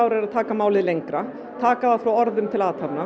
er að taka málið lengra taka það frá orðum til athafna